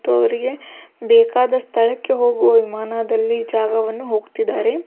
ಇದು ಅವರಿಗೆ ಬೇಕಾದ ಸ್ಥಳಕ್ಕೆ ಹೋಗುವ ವಿಮಾನದಲ್ಲಿ ಜಾಗವನ್ನು ಹೋಗ್ತಾ ಇದಾರೆ.